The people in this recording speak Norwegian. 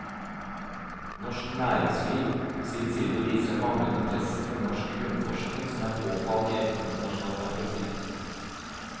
Norsk næringsliv på sin side viser en manglende interesse for norsk grunnforskning som er påfallende i et internasjonalt perspektiv.